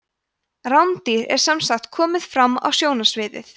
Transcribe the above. rándýr er sem sagt komið fram á sjónarsviðið